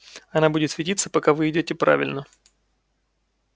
она будет светиться пока вы идёте правильно